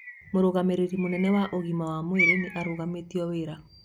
Mũrũgamĩrĩri mũnene wa ũgima wa mwĩrĩ nĩ arũgamĩtio wĩra